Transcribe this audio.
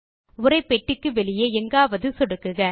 உரைப்பெட்டிக்கு வெளியே எங்காவது சொடுக்குக